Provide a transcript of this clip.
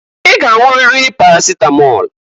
I g'anwụriri parasịtamọl!